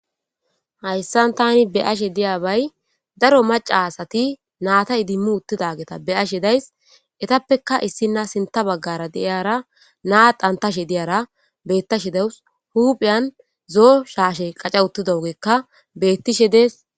hayssan tani be ashe diyabay daro maca asati naata idimmu uttidageta be ashe days etappeka issina sinta baggara deiyara naa dantashe diyara bettashe dewus huphiyan zoo shaashe qaca uttidougekka bettishe dees